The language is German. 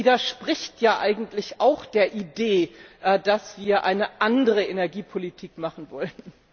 Das widerspricht ja eigentlich auch der Idee, dass wir eine andere Energiepolitik machen wollen.